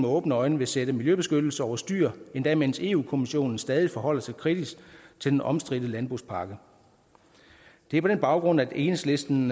åbne øjne vil sætte miljøbeskyttelsen over styr endda mens europa kommissionen stadig forholder sig kritisk til den omstridte landbrugspakke det er på den baggrund at enhedslisten